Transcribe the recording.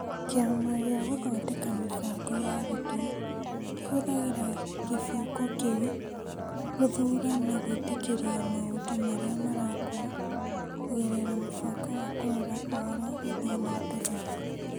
Kĩama gĩa Gũthondeka Mĩbango ya Arutwo kĩhũthagĩra kĩbungo kĩu gũthuura na gwĩtĩkĩria maũndũ marĩa marakwo kũgerera mũbango wa Kũrora Ũhoro Gũthiĩ na mbere .